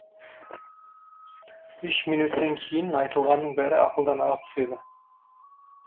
үш минөттан кейін айтылғанның бәрі ақылдан ағып түседі